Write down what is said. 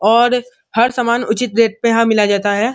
और हर समान उचित रेट पे यहां मिला जाता है।